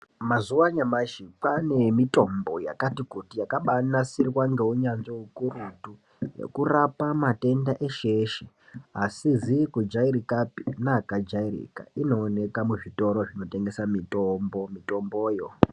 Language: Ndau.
Mazuwa anyamashi kwane mitombo yakati kuti yakabanasirwa ngeunyanzvi ukurutu, yekurapa matenda eshe-eshe asizi kujairikapi neakajairika. Inooneka muzvitoro zvinotengesa mitombo mitomboyo.